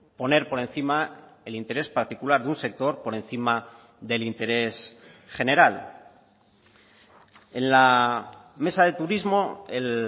poner por encima el interés particular de un sector por encima del interés general en la mesa de turismo el